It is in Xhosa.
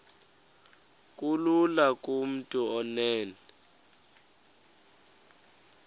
kulula kumntu onen